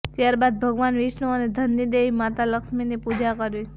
ત્યારબાદ ભગવાન વિષ્ણુ અને ધનની દેવી માતા લક્ષ્મીની પૂજા કરવી